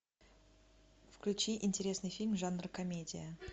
включи интересный фильм жанр комедия